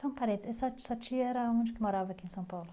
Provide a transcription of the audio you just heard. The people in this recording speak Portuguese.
Só um parênteses essa sua tia era onde que morava aqui em São Paulo?